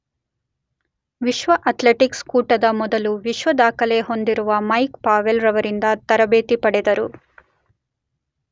ವಿಶ್ವ ಅಥ್ಲೆಟಿಕ್ಸ್ ಕೂಟದ ಮೊದಲು ವಿಶ್ವ ದಾಖಲೆ ಹೊಂದಿರುವ ಮೈಕ್ ಪಾವೆಲ್ ರವರಿಂದ ತರಬೇತಿ ಪಡೆದರು.